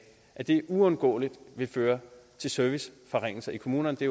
uundgåeligt vil føre til serviceforringelser i kommunerne det